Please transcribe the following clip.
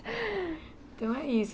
Então é isso.